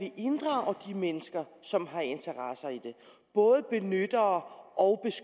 inddrage de mennesker som har interesser i det både benyttere og